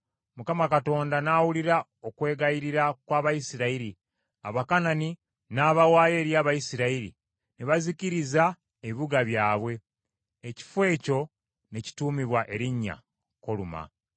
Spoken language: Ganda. Mukama Katonda n’awulira okwegayirira kw’Abayisirayiri, Abakanani n’abawaayo eri Abayisirayiri, ne bazikiriza ebibuga byabwe; ekifo ekyo ne kituumibwa erinnya Koluma.